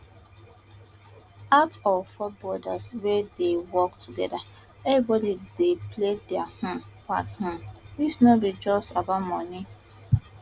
out of four brothers wey dey work togeda everybody dey play dia um part um dis no be just about money